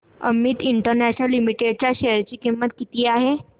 Amit international limited च्या share ची किंमत किती आहे